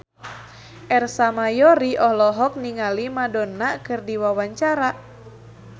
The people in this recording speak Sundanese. Ersa Mayori olohok ningali Madonna keur diwawancara